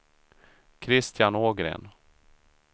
Christian Ågren